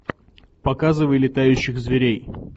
показывай летающих зверей